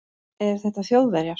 Eru þetta Þjóðverjar?